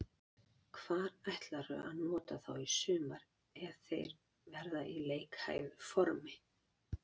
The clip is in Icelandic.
Hvar ætlarðu að nota þá í sumar ef þeir verða í leikhæfu formi?